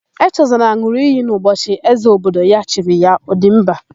Echezọna n̄ụrụ iyi n'ụbọchị ézē obodo ya chiri ya, Ọdịmba.